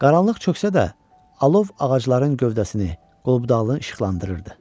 Qaranlıq çöksə də, alov ağacların gövdəsini, qol-budağını işıqlandırırdı.